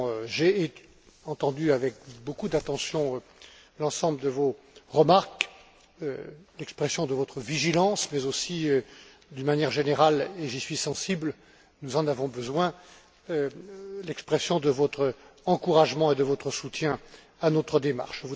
J'ai entendu avec beaucoup d'attention l'ensemble de vos remarques, l'expression de votre vigilance, mais aussi, d'une manière générale et j'y suis sensible, nous en avons besoin l'expression de votre encouragement et de votre soutien à notre démarche.